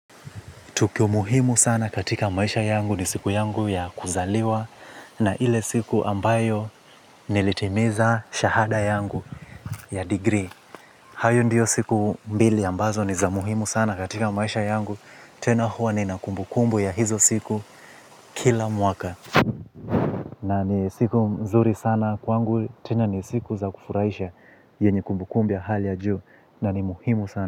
Tukio muhimu sana katika maisha yangu ni siku yangu ya kuzaliwa na ile siku ambayo nilitimiza shahada yangu ya degree. Hayo ndiyo siku mbili ambazo ni za muhimu sana katika maisha yangu. Tena huwa nina kumbukumbu ya hizo siku kila mwaka. Na ni siku mzuri sana kwangu. Tena ni siku za kufurahisha yenye kumbukumbu ya hali ya juu. Na ni muhimu sana.